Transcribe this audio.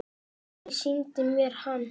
Pabbi sýndi mér hann.